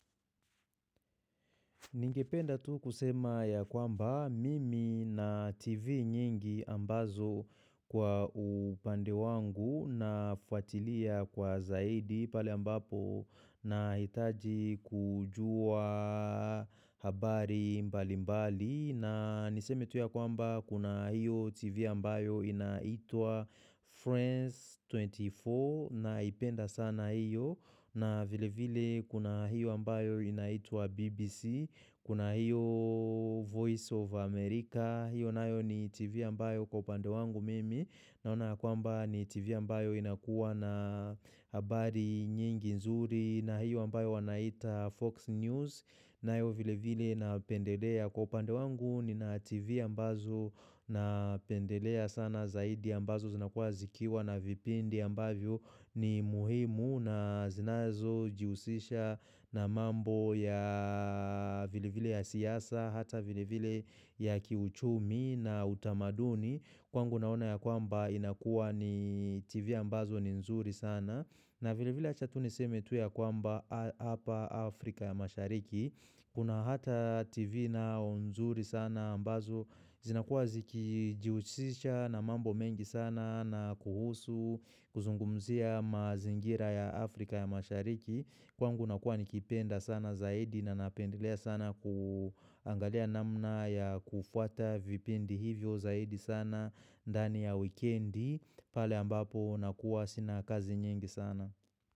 Ningependa tu kusema ya kwamba mimi na TV nyingi ambazo kwa upande wangu nafuatilia kwa zaidi pale ambapo nahitaji kujua habari mbali mbali. Na niseme tu ya kwamba kuna hiyo TV ambayo inaitwa Friends 24 naipenda sana hiyo na vile vile kuna hiyo ambayo inaitwa BBC, kuna hiyo Voice of America. Hiyo nayo ni TV ambayo kwa upande wangu mimi naona ya kwamba ni TV ambayo inakuwa na habari nyingi nzuri, na hiyo ambayo wanaita Fox News nayo vile vile napendelea kwa upande wangu nina TV ambazo napendelea sana zaidi ambazo zinakuwa zikiwa na vipindi ambavyo ni muhimu na zinazojihusisha na mambo ya vile vile ya siasa hata vile vile ya kiuchumi na utamaduni, kwangu naona ya kwamba inakuwa ni TV ambazo ni nzuri sana na vile vile acha tu niseme tu ya kwamba hapa Afrika ya mashariki, kuna hata TV nao nzuri sana ambazo, zinakuwa zikijihusisha na mambo mengi sana na kuhusu, kuzungumzia mazingira ya Afrika ya mashariki. Kwangu nakua nikipenda sana zaidi na napendelea sana kuangalia namna ya kufuata vipindi hivyo zaidi sana ndani ya wikendi pale ambapo nakua sina kazi nyingi sana.